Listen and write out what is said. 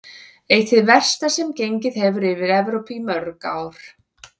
Eitt hið versta sem gengið hefur yfir Evrópu í mörg ár.